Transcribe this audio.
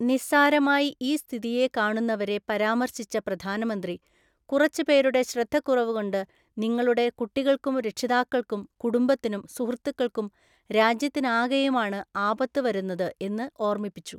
നിസ്സാരമായി ഈ സ്ഥിതിയെ കാണുന്നവരെ പരാമര്‍ശിച്ച പ്രധാനമന്ത്രി, കുറച്ചുപേരുടെ ശ്രദ്ധക്കുറവുകൊണ്ട് നിങ്ങളുടെ കുട്ടികള്‍ക്കും രക്ഷിതാക്കള്‍ക്കും കുടുംബത്തിനും സുഹൃത്തുക്കള്‍ക്കും രാജ്യത്തിനാകെയുമാണ് ആപത്ത് വരുന്നത് എന്ന് ഓർമിപ്പിച്ചു.